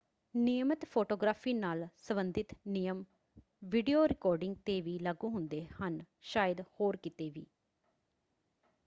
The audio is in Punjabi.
ਨਿਯਮਿਤ ਫੋਟੋਗ੍ਰਾਫੀ ਨਾਲ ਸਬੰਧਿਤ ਨਿਯਮ ਵੀਡੀਓ ਰਿਕਾਰਡਿੰਗ 'ਤੇ ਵੀ ਲਾਗੂ ਹੁੰਦੇ ਹਨ ਸ਼ਾਇਦ ਹੋਰ ਕਿਤੇ ਵੀ।